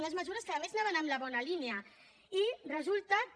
unes mesures que a més anaven en la bona línia i resulta que